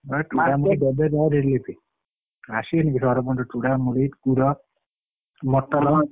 ଚୂଡା ମୁଡି ଦେବେ ରହ relief ଆସିବେନି କି ସରପଞ୍ଚ ଚୂଡା ମୁଡି କ୍ଷୀର ମୋଟୋନ ।